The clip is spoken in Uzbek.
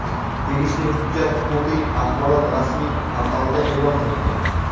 Tegishli hujjat huquqiy axborot rasmiy portalida e’lon qilingan.